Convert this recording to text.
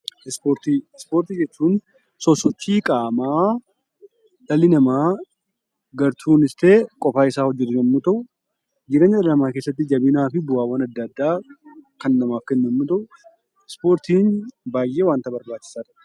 Ispoortii jechuun sosochii qaamaa dhalli namaa gartuunis ta'ee qofaa isaa hojjatu yommuu ta'u, jireenya dhala namaa keessatti jabinaa fi bu'aawwan adda addaa kan namaaf kennu yoo ta'u ispoortiin baay'ee barbaachisaadha.